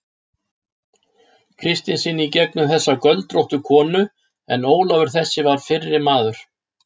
Kristinssyni í gegnum þessa göldróttu konu, en Ólafur þessi var fyrri maður